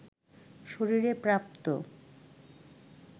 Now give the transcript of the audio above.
শরীরে প্রাপ্ত